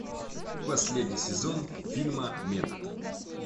последний сезон фильма метод